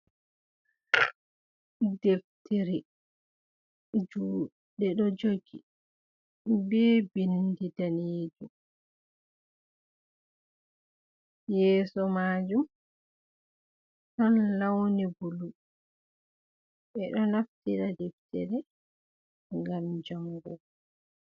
Ɗeftere juɗe do jogi be ɓindi ɗanejum yeso majum ɗon launi bulu ɓe ɗo naftira ɗeftere ngam jangugo.